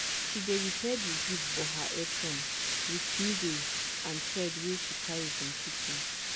she dey repair di zip for her apron with needle and thread wey she carry from kitchen.